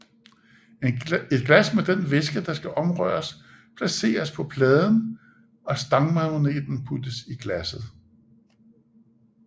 Et glas med den væske der skal omrøres placeres på pladen og stangmagneten puttes i glasset